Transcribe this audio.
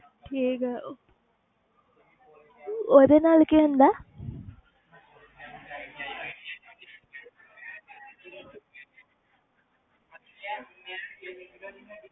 ਠੀਕ ਹੈ ਉਹ ਉਹਦੇ ਨਾਲ ਕੀ ਹੁੰਦਾ ਹੈ